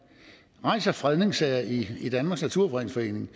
rejser fredningssager i i danmarks naturfredningsforening